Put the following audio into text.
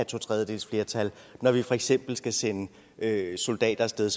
totredjedelsflertal når vi for eksempel skal sende soldater af sted